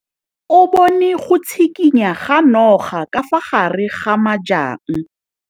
O bone go tshikinya ga noga ka fa gare ga majang.